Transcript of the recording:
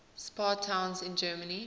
spa towns in germany